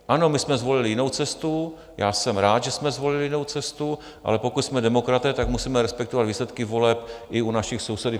Ano, my jsme zvolili jinou cestu, já jsem rád, že jsme zvolili jinou cestu, ale pokud jsme demokraté, tak musíme respektovat výsledky voleb i u našich sousedů.